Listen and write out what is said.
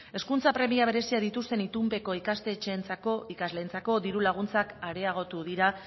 hezkuntza premia berezia dituzten itunpeko ikastetxeentzako ikasleentzako diru laguntzak areagotu dira